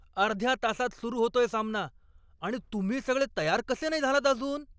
अर्ध्या तासात सुरु होतोय सामना. आणि तुम्ही सगळे तयार कसे नाही झालात अजून?